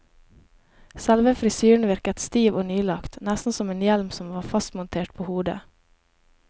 Selve frisyren virket stiv og nylagt, nesten som en hjelm som var fastmontert på hodet.